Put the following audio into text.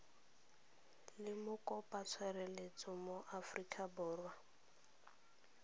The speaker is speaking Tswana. le mokopatshireletso mo aforika borwa